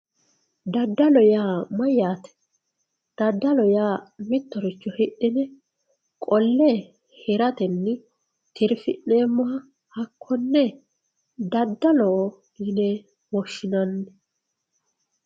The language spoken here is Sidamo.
daddalo yaa mayyate daddalo yaa mittoricho hidhine qolle hiratenni tirfi'neemmoha hakkonne daddaloho yine woshshinanni.